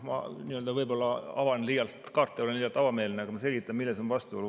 Ma võib-olla avan liialt kaarte, olen liialt avameelne, aga ma selgitan, milles on vastuolu.